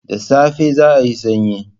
Da safe za'ayi sanyi.